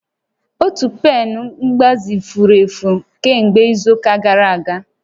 Otu pen mgbazi furu efu kemgbe izu ụka gara aga